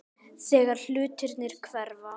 Þegar hlutirnir hverfa